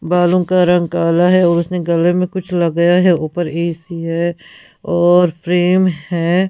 बालों का रंग काला है और उसने गले में कुछ लगाया है ऊपर ए_सी है और फ्रेम है।